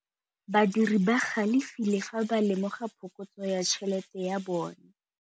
Badiri ba galefile fa ba lemoga phokotsô ya tšhelête ya bone.